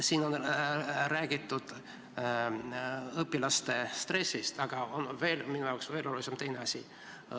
Siin on räägitud õpilaste stressist, aga minu jaoks on veelgi olulisem üks teine asi.